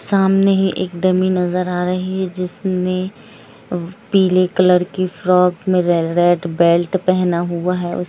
सामने ही एक डम्मी नजर आ रही है जिसने पिले कलर की फ्रॉक मे रे-रेड बैलट पेहना हुआ है उस --